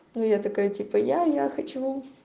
ну я такая типа я я хочу